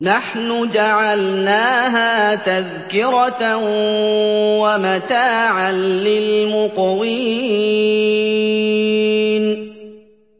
نَحْنُ جَعَلْنَاهَا تَذْكِرَةً وَمَتَاعًا لِّلْمُقْوِينَ